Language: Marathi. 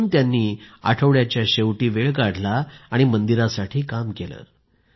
त्यातून त्यांनी आठवड्याच्या शेवटी वेळ काढला आणि मंदिरासाठी काम केलं